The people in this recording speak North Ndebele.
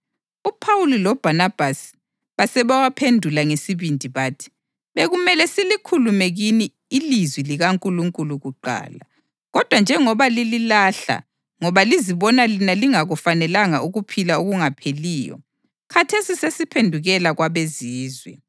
UPhawuli loBhanabhasi basebewaphendula ngesibindi bathi, “Bekumele silikhulume kini ilizwi likaNkulunkulu kuqala. Kodwa njengoba lililahla ngoba lizibona lina lingakufanelanga ukuphila okungapheliyo, khathesi sesiphendukela kwabeZizwe.